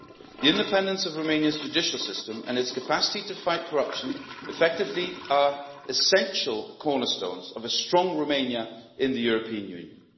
The independence of Romania's judicial system and its capacity to fight corruption effectively are essential cornerstones of a strong Romania in the European Union.